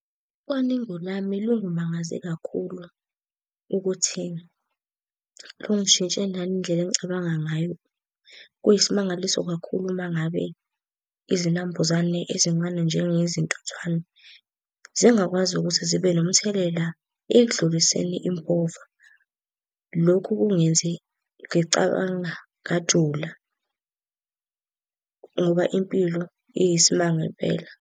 Ucwaningo lami lungimangaze kakhulu ukuthi lungishintshe nangendlela engicabanga ngayo. Kuyisimangaliso kakhulu uma ngabe izinambuzane ezincane njengezintuthwane zingakwazi ukuthi zibe nomthelela ekudluliseni impova. Lokhu kungenze ngicabanga ngajula, ngoba impilo iyisimanga impela.